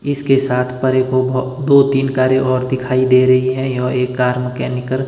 इसके साथ परेपेभो दो तीन कारे और दिखाई दे रहे है और एक कार में केमिकल --